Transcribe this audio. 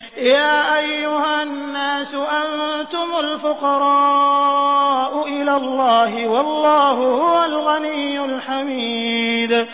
۞ يَا أَيُّهَا النَّاسُ أَنتُمُ الْفُقَرَاءُ إِلَى اللَّهِ ۖ وَاللَّهُ هُوَ الْغَنِيُّ الْحَمِيدُ